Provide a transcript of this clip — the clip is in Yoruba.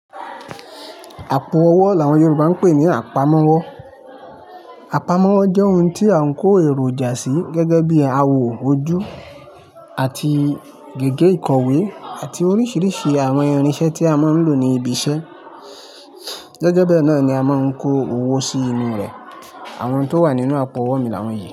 Àpo ọwọ́ làwọn Yorùbá ń pè ní àpamọ́wọ́. Àpamọ́wọ́ jẹ́ ohun tí a ń kó èròjà sí gẹ́gẹ́ bí awò ojú àti gègé ìkọ̀wé àti oríṣiríṣi àwọn irinṣẹ́ tí a máa ń lò ní ibi iṣẹ́. Gẹ́gẹ́ bẹ náà ni a máa ń kó owó sí inú rẹ̀. Àwọn tó wà nínú àpo ọwọ́ mi làwọn yẹn.